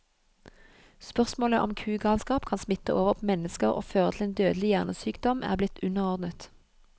Spørsmålet om kugalskap kan smitte over på mennesker og føre til en dødelig hjernesykdom, er blitt underordnet.